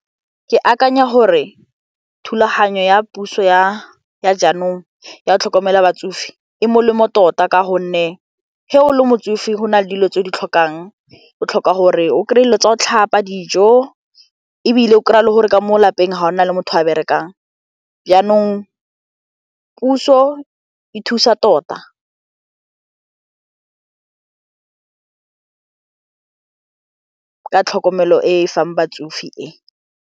Ke akanya gore thulaganyo ya puso ya ya jaanong ya go tlhokomela batsofe e molemo tota ka gonne ge o le motsofe go na le dilo tse o di tlhokang o tlhoka gore o kry-e dilo tsa go tlhapa dijo ebile o kry-a le gore ka mo lapeng ga go na le motho a berekang jaanong puso e thusa tota ka tlhokomelo e e fang batsofe e.